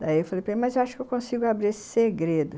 Daí eu falei, mas acho que eu consigo abrir esse segredo...